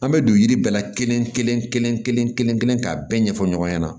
An bɛ don yiri bɛɛ la kelen-kelen-kelen-kelen k'a bɛɛ ɲɛfɔ ɲɔgɔn ɲɛna